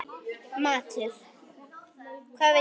Matur: Hvað viltu?